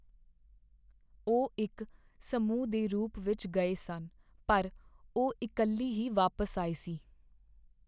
ਉਹ ਇੱਕ ਸਮੂਹ ਦੇ ਰੂਪ ਵਿੱਚ ਗਏ ਸਨ ਪਰ ਉਹ ਇਕੱਲੀ ਹੀ ਵਾਪਸ ਆਈ ਸੀ।